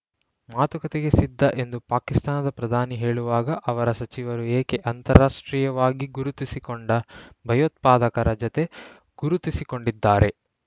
ಮಾತುಕತೆಗೆ ಸಿದ್ಧ ಎಂದು ಪಾಕಿಸ್ತಾನದ ಪ್ರಧಾನಿ ಹೇಳುವಾಗ ಅವರ ಸಚಿವರು ಏಕೆ ಅಂತಾರಾಷ್ಟ್ರೀಯವಾಗಿ ಗುರುತಿಸಿಕೊಂಡ ಭಯೋತ್ಪಾದಕರ ಜೊತೆ ಗುರುತಿಸಿಕೊಂಡಿದ್ದಾರೆ